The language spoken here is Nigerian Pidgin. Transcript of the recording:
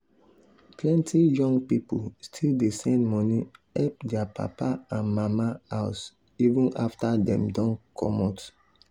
plenty young pipo still dey send money help their papa and mama house even after dem don comot.